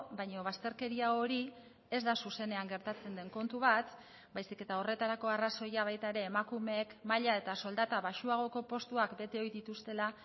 baina bazterkeria hori ez da zuzenean gertatzen den kontu bat baizik eta horretarako arrazoia baita ere emakumeek maila eta soldata baxuagoko postuak bete ohi dituztela